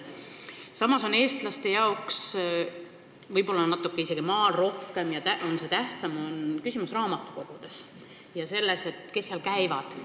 Samas on eestlaste jaoks – võib-olla maal isegi natuke rohkem, seal on see tähtsam – küsimus raamatukogudes ja selles, kes seal käivad.